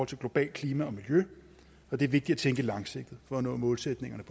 til globalt klima og miljø og det er vigtigt at tænke langsigtet for at nå målsætningerne